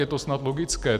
Je to snad logické.